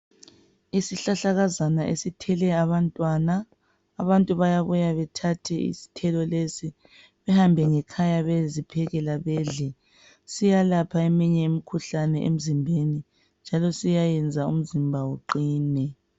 Isihlahlakazana esithele abantwana, abantu bayabuya bethathe izithelo lezi behambe ngekhaya beyeziphekela bedle. Siyalapha eminye imikhuhlane emzimbeni njalo siyayenza umzimba uqine.